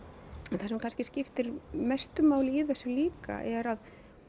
það sem kannski skiptir mestu máli í þessu líka er að